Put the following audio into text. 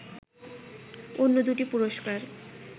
অন্য দু’টি পুরস্কার